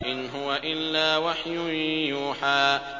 إِنْ هُوَ إِلَّا وَحْيٌ يُوحَىٰ